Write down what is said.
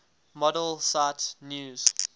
model cite news